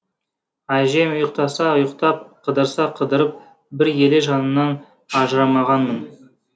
әжем ұйықтаса ұйықтап қыдырса қыдырып бір елі жанынан ажырамағанмын